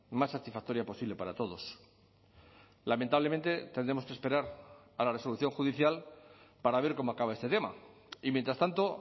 más satisfactoria posible para todos lamentablemente tendremos que esperar a la resolución judicial para ver cómo acaba este tema y mientras tanto